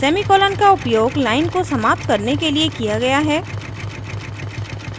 semicolon का उपयोग line को समाप्त करने के लिए किया गया है